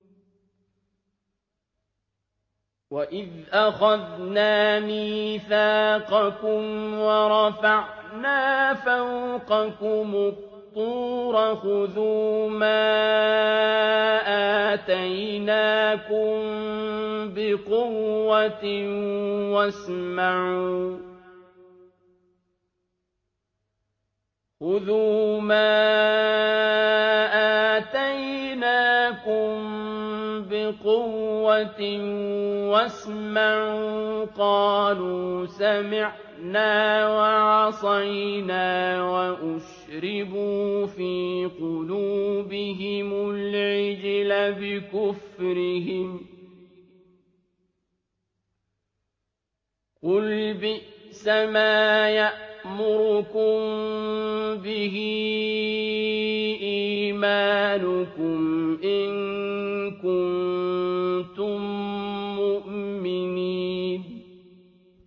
وَإِذْ أَخَذْنَا مِيثَاقَكُمْ وَرَفَعْنَا فَوْقَكُمُ الطُّورَ خُذُوا مَا آتَيْنَاكُم بِقُوَّةٍ وَاسْمَعُوا ۖ قَالُوا سَمِعْنَا وَعَصَيْنَا وَأُشْرِبُوا فِي قُلُوبِهِمُ الْعِجْلَ بِكُفْرِهِمْ ۚ قُلْ بِئْسَمَا يَأْمُرُكُم بِهِ إِيمَانُكُمْ إِن كُنتُم مُّؤْمِنِينَ